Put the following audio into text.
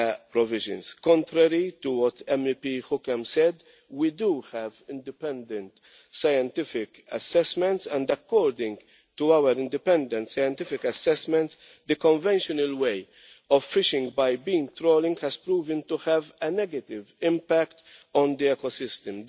provisions. Contrary to what MEP Hookem said, we do have independent scientific assessments, and according to our independent scientific assessments, the conventional way of fishing by beam trawling has proven to have a negative impact on the ecosystem.